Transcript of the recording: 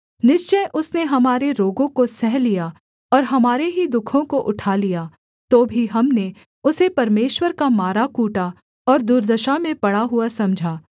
निश्चय उसने हमारे रोगों को सह लिया और हमारे ही दुःखों को उठा लिया तो भी हमने उसे परमेश्वर का माराकूटा और दुर्दशा में पड़ा हुआ समझा